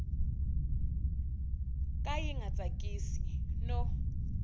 ka yi nga tsakisi no